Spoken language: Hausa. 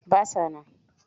Ba sa nan.